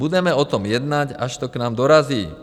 Budeme o tom jednat, až to k nám dorazí.